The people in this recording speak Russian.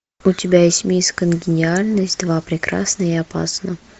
у тебя есть мисс конгениальность два прекрасна и опасна